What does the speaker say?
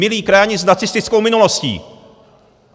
Milí krajani s nacistickou minulostí!